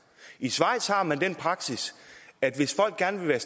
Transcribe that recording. i schweiz har man den praksis at hvis folk gerne vil